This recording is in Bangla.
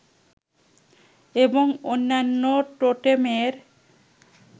এবং অন্যান্য টোটেমের